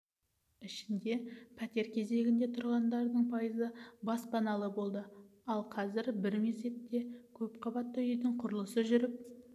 ішінде пәтер кезегінде тұрғандардың пайызы баспаналы болды ал қазір бір мезетте көпқабатты үйдің құрылысы жүріп